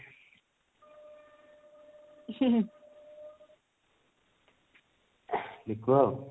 ମିକୁ